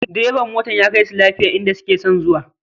Direban motar ya kaisu lafiya inda suke son zuwa